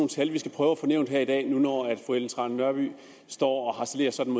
tal vi skal prøve at få nævnt her i dag nu når fru ellen trane nørby står og harcelerer sådan